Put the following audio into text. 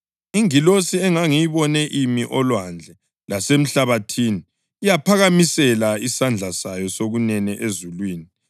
Ingilosi engangiyibone imi olwandle lasemhlabathini yaphakamisela isandla sayo sokunene ezulwini.